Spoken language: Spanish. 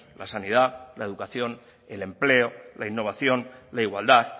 la sanidad la educación el empleo la innovación la igualdad